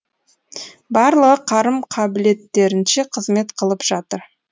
барлығы қарым қабілеттерінше қызмет қылып жатыр